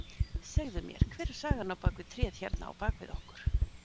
Segðu mér, hver er sagan á bak við tréð hérna á bakvið okkur?